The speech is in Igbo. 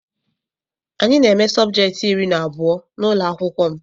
Anyị na eme subjecti iri na abụọ n'ụlọakwụkwọ m.